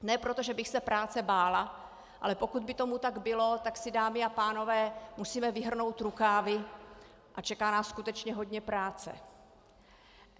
Ne proto, že bych se práce bála, ale pokud by tomu tak bylo, tak si, dámy a pánové, musíme vyhrnout rukávy a čeká nás skutečně hodně práce.